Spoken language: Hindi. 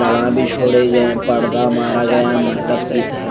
लड़ा भी छोड़े गए ऐं पड़दा मारा गया मटब की थरा --